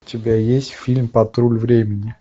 у тебя есть фильм патруль времени